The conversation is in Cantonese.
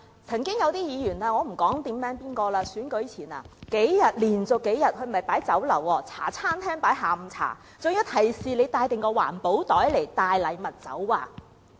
曾經有些議員——我不在此點名指出——在選舉前連續數天設宴，不是在酒樓，而是在茶餐廳設置下午茶，還提示街坊要帶備環保袋載禮物走。